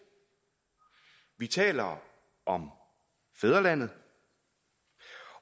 vi taler om fædrelandet